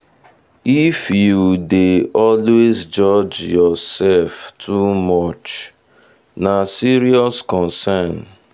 if you dey always judge yourself too much na serious concern.